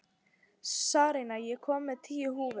Sarína, ég kom með tíu húfur!